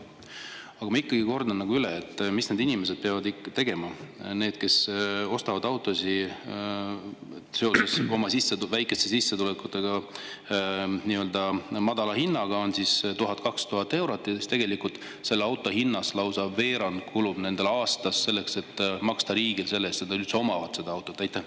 Aga ma ikkagi kordan üle: mida peavad tegema need inimesed, kes ostavad autosid oma väikeste sissetulekute tõttu nii-öelda madala hinnaga, 1000–2000 eurot, ja siis tegelikult selle auto hinnast lausa veerand kulub aastas selleks, et maksta riigile selle eest, et nad üldse omavad seda autot?